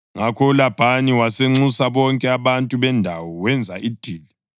Ngakho uLabhani wasenxusa bonke abantu bendawo wenza idili.